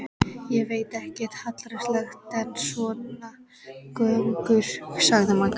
Ég veit ekkert hallærislegra en svona göngur, sagði Magga.